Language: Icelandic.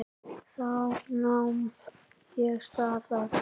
Þá nam ég staðar.